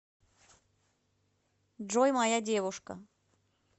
джой моя девушка